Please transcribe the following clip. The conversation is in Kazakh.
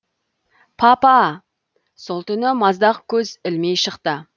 папа сол түні маздақ көз ілмей шықты